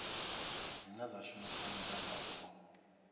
dzine dza shumisa mudagasi wo